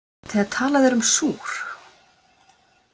Þegar talað er um súr.